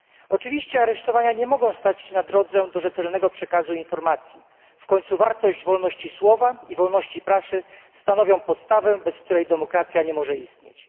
Oczywiście aresztowania nie mogą stać na drodze do rzetelnego przekazu informacji, w końcu wartość wolności słowa i wolności prasy stanowią podstawę, bez której demokracja nie może istnieć.